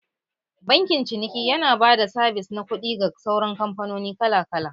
Bankin ciniki yana ba da sabis na kuɗi ga sauran kamfanoni kala kala